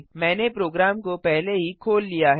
मैंने प्रोग्राम को पहले ही खोल लिया है